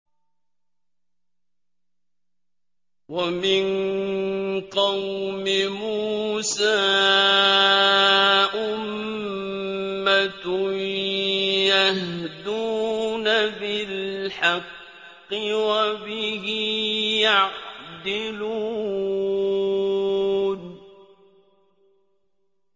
وَمِن قَوْمِ مُوسَىٰ أُمَّةٌ يَهْدُونَ بِالْحَقِّ وَبِهِ يَعْدِلُونَ